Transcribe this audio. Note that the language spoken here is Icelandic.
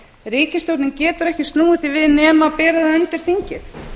ríkisstjórnin getur ekki snúið því við nema bera það undir þingið